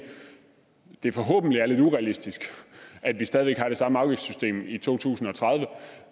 det forhåbentlig er lidt urealistisk at vi stadig har det samme afgiftssystem i to tusind og tredive